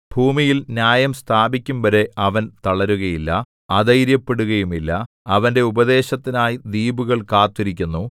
ഭൂമിയിൽ ന്യായം സ്ഥാപിക്കുംവരെ അവൻ തളരുകയില്ല അധൈര്യപ്പെടുകയുമില്ല അവന്റെ ഉപദേശത്തിനായി ദ്വീപുകൾ കാത്തിരിക്കുന്നു